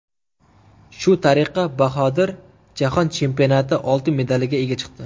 Shu tariqa Bahodir Jahon chempionati oltin medaliga ega chiqdi.